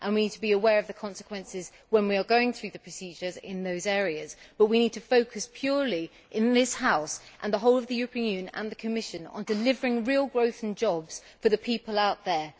We need to be aware of the consequences when we are going through the procedures in those areas, but we need to focus purely in this House, in the whole of the European Union and in the Commission on delivering real growth and jobs for the people out there.